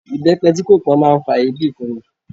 Ibepe tí kò pọn máa ń fa èébì fún mi.